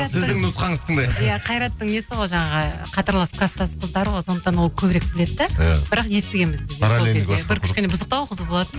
сіздің нұқсаңызды тыңдайық иә қайраттың несі ғой жаңағы қатарлас класстас қыздары ғой сондықтан ол көбірек біледі де иә бірақ естігенбіз бір кішкене бұзықтау қыз болатын